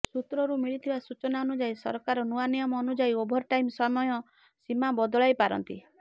ସୂତ୍ରରୁ ମିଳିଥିବା ସୂଚନା ଅନୁଯାୟୀ ସରକାର ନୂଆ ନିୟମ ଅନୁଯାୟୀ ଓଭରଟାଇମ୍ ସମୟ ସୀମା ବଦଳାଇ ପାରନ୍ତି